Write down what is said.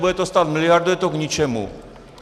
Bude to stát miliardu, je to k ničemu."